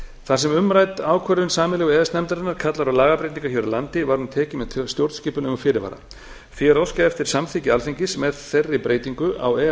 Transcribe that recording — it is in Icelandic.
þar sem umrædd ákvörðun sameiginlegu e e s nefndarinnar kallar á lagabreytingar hér á landi var hún tekin með stjórnskipulegum fyrirvara því er óskað eftir samþykki alþingis með þeirri breytingu á e e s